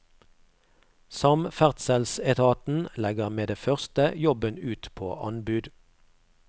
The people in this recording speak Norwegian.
Samferdselsetaten legger med det første jobben ut på anbud.